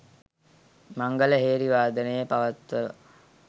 මංගල හේරි වාදනය පවත්වා